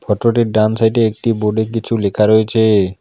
ফটোটির ডান সাইডে একটি বোর্ডে কিছু লেখা রয়েছে।